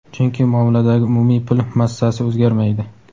chunki muomaladagi umumiy pul massasi o‘zgarmaydi.